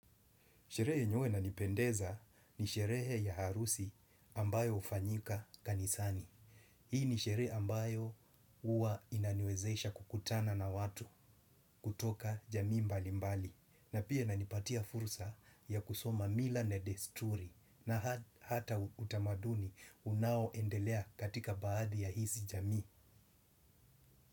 Sherehe yenye huwa inanipendeza ni sherehe ya harusi ambayo hufanyika kanisani. Hii ni sherehe ambayo uwa inaniwezesha kukutana na watu kutoka jamii mbali mbali. Na pia inanipatia fursa ya kusoma mila na desturi na hata utamaduni unao endelea katika baadhi ya hizi jamii.